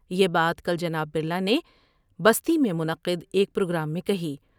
یہ بات کل جناب برلا نے بستی میں منعقد ایک پروگرام میں کہیں ۔